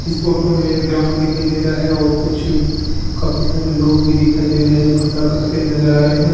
इस फोटो में ग्राउंड दिखाई दे रहा है और कुछ काफी सारे लोग भी दिखाई दे रहे हैं जो हल्ला करते नजर आ रहे हैं।